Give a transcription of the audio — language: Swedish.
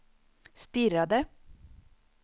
stirrade